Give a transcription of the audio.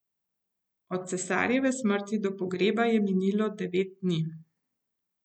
Od cesarjeve smrti do pogreba je minilo devet dni.